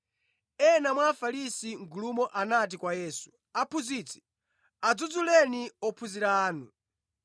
Ena mwa Afarisi mʼgulumo anati kwa Yesu, “Aphunzitsi, adzudzuleni ophunzira anu!”